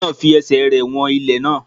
Ọkùnrin náà fi ẹsẹ̀ rẹ̀ wọn ilẹ̀ náà.